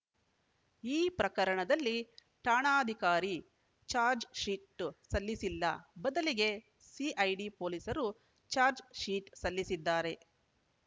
ಈ ಪ್ರಕರಣದಲ್ಲಿ ಠಾಣಾಧಿಕಾರಿ ಚಾರ್ಜ್ ಶೀಟ್‌ ಸಲ್ಲಿಸಿಲ್ಲ ಬದಲಿಗೆ ಸಿಐಡಿ ಪೊಲೀಸರು ಚಾರ್ಜ್ ಶೀಟ್‌ ಸಲ್ಲಿಸಿದ್ದಾರೆ